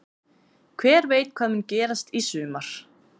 Hver veit hvað mun gerast í sumar?